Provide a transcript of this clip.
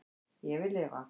Ég vil lifa